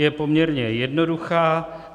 Je poměrně jednoduchá.